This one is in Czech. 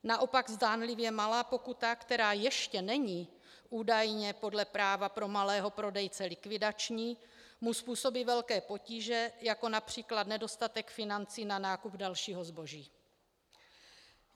Naopak zdánlivě malá pokuta, která ještě není údajně podle práva pro malého prodejce likvidační, mu způsobí velké potíže, jako například nedostatek financí na nákup dalšího zboží.